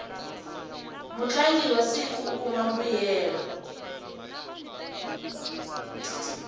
mutlangi wa siku u kuma mbuyelo